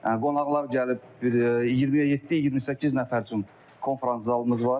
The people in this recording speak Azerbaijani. qonaqlar gəlib 20-yə 7-28 nəfər üçün konfrans zalımız var.